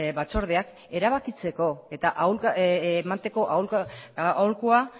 batzordeak erabakitzeko eta emateko aholkua